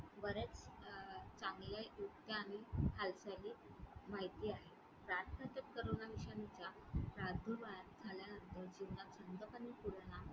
बऱ्याच अं चांगल्या युक्त्या आम्ही हालचाली माहिती आहेत.